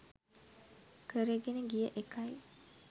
කරගෙන ගිය එකයි.